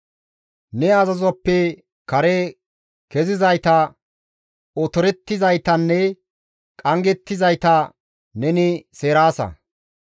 Ne azazozappe kare kezizayta, otorettizaytanne qanggettizayta neni seeraasa.